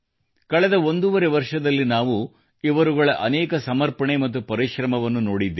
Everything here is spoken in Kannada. ಕಳೆದ ಒಂದೂವರೆ ವರ್ಷದಲ್ಲಿ ನಾವು ಇವರುಗಳ ಅನೇಕ ಸಮರ್ಪಣೆ ಮತ್ತು ಪರಿಶ್ರಮವನ್ನು ನೋಡಿದ್ದೇವೆ